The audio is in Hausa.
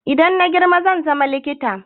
Idan na girma zan zama likita